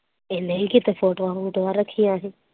ਇਹਨੇ ਕੀਤੇ ਫੋਟੋਆ ਰੱਖੀਆਂ ਸੀ।